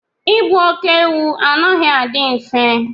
ịgbu óké-ewu anaghị adị mfe